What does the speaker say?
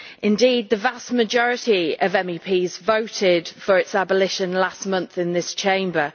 Indeed, the vast majority of MEPs voted for its abolition last month in this Chamber.